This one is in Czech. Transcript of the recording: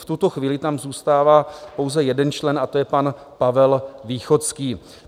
V tuto chvíli tam zůstává pouze jeden člen, a to je pan Pavel Východský.